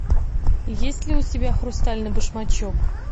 есть ли у тебя хрустальный башмачок